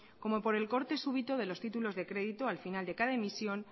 como por el corte súbito de los títulos de crédito al final de cada emisión